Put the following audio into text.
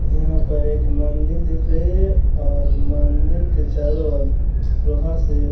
यहाँ पे एक मंदील दिख रही है और मंदील के चारों ओर वहाँ से --